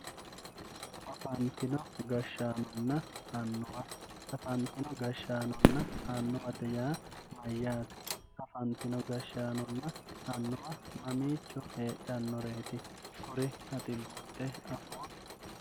afantino gashshaanonna annuwa, afantino gashshaanonna annuwate yaa mayyaate afantino gashshaanonna annuwa mamiicho heedhannoreeti kuri ati buuxxe afootto.